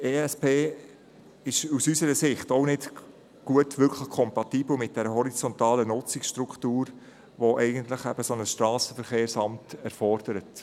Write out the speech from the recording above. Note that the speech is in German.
Der ESP ist aus unserer Sicht auch nicht wirklich kompatibel mit einer horizontalen Nutzungsstruktur, die ein Strassenverkehrsamt erfordert.